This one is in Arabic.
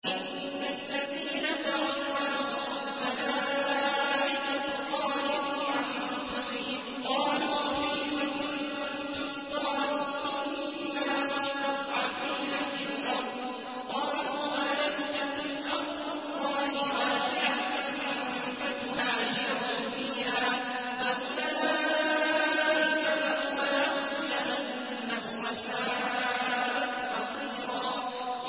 إِنَّ الَّذِينَ تَوَفَّاهُمُ الْمَلَائِكَةُ ظَالِمِي أَنفُسِهِمْ قَالُوا فِيمَ كُنتُمْ ۖ قَالُوا كُنَّا مُسْتَضْعَفِينَ فِي الْأَرْضِ ۚ قَالُوا أَلَمْ تَكُنْ أَرْضُ اللَّهِ وَاسِعَةً فَتُهَاجِرُوا فِيهَا ۚ فَأُولَٰئِكَ مَأْوَاهُمْ جَهَنَّمُ ۖ وَسَاءَتْ مَصِيرًا